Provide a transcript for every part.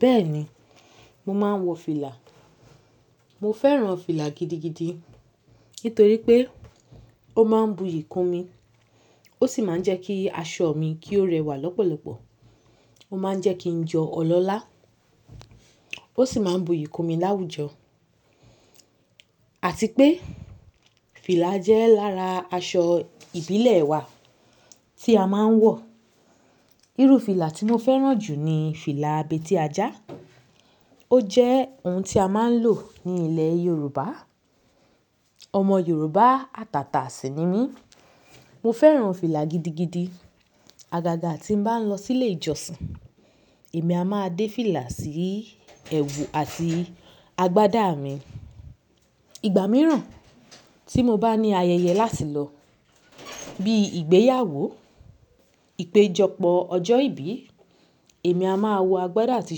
Bẹ́ẹ̀ni, mo máa ń wọ fìlà. Mo fẹ́ràn fìlà gidigidi nítorí pé ó máa ń buyì kún mi, ó sì máa ń jẹ́ kí aṣọ mi kí ó rẹwà lọ́pọ̀lọpọ̀. Ó máa ń jẹ́ kí n jọ ọlọ́lá ó sì máa ń buyì kún mi láwùjọ àti pé fìlà jẹ́ lára aṣọ ìbílẹ̀ wa tí a máa ń wọ̀. Irú fìlà tí mo fẹ́ràn jù ni fìlà abètí ajá. Ó jẹ́ ohun tí a máa ń lò ní ilẹ̀ Yorùbá. Ọmọ Yorùbá àtàtà sí i ni mí. Mo fẹ́ràn fìlà gidigidi. Agaga tí ń bá lọ sílé ìjọsìn, èmi a máa dé fìlà sí ẹwù àti agbádá mi. Ìgbà mìíràn tí mo bá ní ayẹyẹ láti lọ bí i ìgbéyàwó, ìpéjọpọ̀ ọjọ́ ìbí, èmi a máa wọ agbádá àti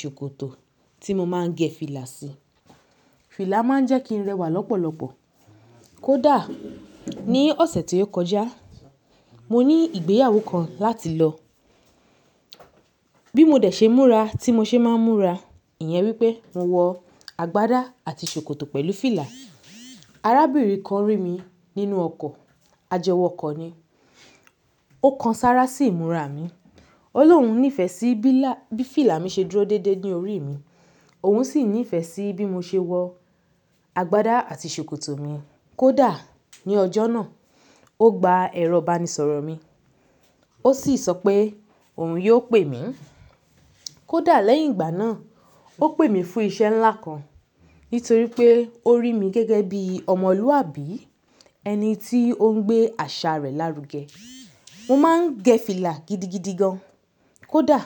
ṣòkòtò tí mo máa ń gẹ fìlà sí. Fìlà máa ń jẹ́ kí n rẹwà lọ́pọ̀lọpọ̀. Kódà ní ọ̀sẹ̀ tí ó kọjá, mo ní ìgbéyàwó kan láti lọ. Bí mo dẹ̀ ṣe múra tí mo ṣe máa ń múra, ìyẹn wípé mo wọ agbádá àti ṣòkòtò pẹ̀lú fìlà. Arábìnrin kan rí mi nínú ọkọ̀, ajẹwọkọ̀ ni. Ó kan sára sí ìmúra mi. Ọlọ́un nífẹ̀ẹ́ sí bí là-- bí fìlà mi ṣe dúró déédé ní orí mi. Òun sì nífẹ̀ẹ́ sí bí mo ṣe wọ agbádá àti ṣòkòtò mi. Kódà ní ọjọ́ náà, ó gba ẹ̀rọ banisọ̀rọ̀ mi, ó sì sọ pé òun yóò pè mí. Kódà lẹ́yìn ìgbà náà, ó pè mí fún iṣẹ́ ńlá kan nítorí pé ó rí mi gẹ́gẹ́ bí ọmọlúwàbí, ẹni tí ó ń gbé àṣà rẹ̀ lárugẹ. Mo máa ń gẹ fìlà gidigidi gan. Kódà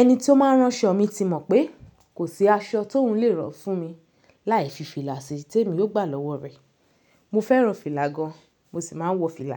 ẹni tí ó máa rán ṣọ mi ti mọ̀ pé kò sí aṣọ tóuń le ran fún mi láì fi fìlà sí i tèmi yóò gbà lọ́wọ́ rẹ̀. Mo fẹ́ràn fìlà gan, mo sì máa ń wọ fìlà.